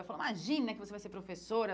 Ela falou, imagina que você vai ser professora.